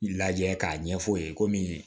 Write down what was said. Lajɛ k'a ɲɛf'u ye komi